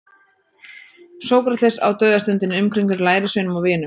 Sókrates á dauðastundinni umkringdur lærisveinum og vinum.